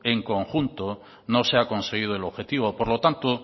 en conjunto no se ha conseguido el objetivo por lo tanto